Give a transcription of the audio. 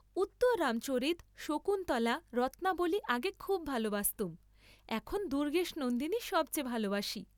উত্তররামচরিত, শকুন্তলা, রত্নাবলী আগে খুব ভালবাসতুম, এখন দুর্গেশনন্দিনী সব চেয়ে ভালবাসি।